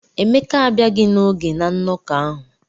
Emeka abịaghị n'oge na nnọkọ ahụ.